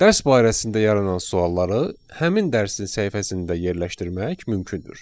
Dərs barəsində yaranan sualları həmin dərsin səhifəsində yerləşdirmək mümkündür.